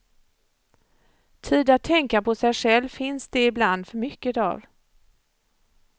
Tid att tänka på sig själv finns det ibland för mycket av.